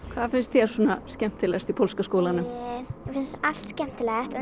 hvað finnst þér skemmtilegast í pólska skólanum mér finnst allt skemmtileg en